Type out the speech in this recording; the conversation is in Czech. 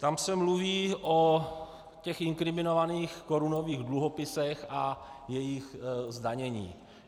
Tam se mluví o těch inkriminovaných korunových dluhopisech a jejich zdanění.